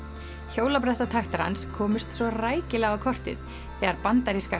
hjólabretti hjólabrettataktar hans komust svo rækilega á kortið þegar bandaríska